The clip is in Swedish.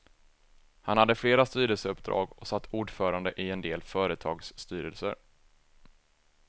Han hade flera styrelseuppdrag och satt ordförande i en del företagsstyrelser.